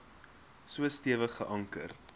so stewig geanker